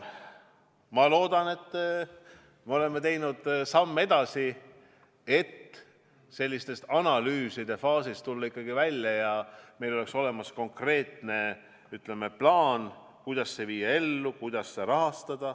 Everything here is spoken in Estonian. Ma loodan, et me oleme teinud sammu edasi, et analüüside faasist välja tulla, et meil oleks olemas konkreetne plaan, kuidas see ellu viia, kuidas seda rahastada.